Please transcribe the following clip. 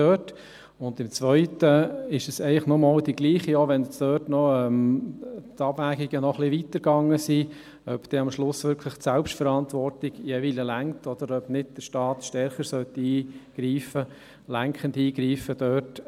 Bei der zweiten Motion ist es eigentlich nochmals dasselbe, auch wenn die Abwägungen hier noch etwas weiter gingen, ob am Ende die Eigenverantwortung reicht, oder ob der Staat nicht stärker lenkend eingreifen sollte.